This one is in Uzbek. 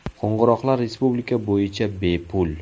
Qo‘ng‘iroqlar respublika bo‘yicha bepul.